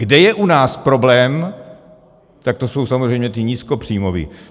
Kde je u nás problém, tak to jsou samozřejmě ti nízkopříjmoví.